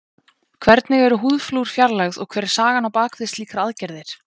Hvernig eru húðflúr fjarlægð og hver er sagan á bak við slíkar aðgerðir?